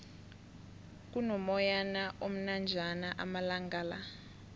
kuno moyana omnanjana amalangala